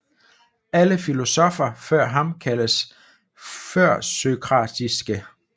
Alle filosoffer før ham kaldes førsokratiske